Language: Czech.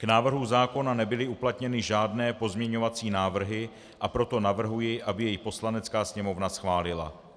K návrhu zákona nebyly uplatněny žádné pozměňovací návrhy, a proto navrhuji, aby jej Poslanecká sněmovna schválila.